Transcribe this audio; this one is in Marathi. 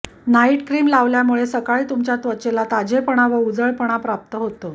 नाईट क्रिम लावल्यामुळे सकाळी तुमच्या त्वचेला ताजेपणा व उजळपणा प्राप्त होतो